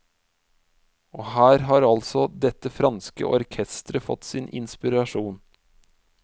Og her har altså dette franske orkesteret fått sin inspirasjon.